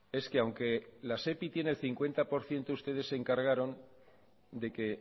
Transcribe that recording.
es que aunque la sepi tiene cincuenta por ciento ustedes se encargaron de que